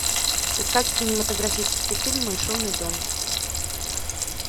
искать кинематографический фильм мой шумный дом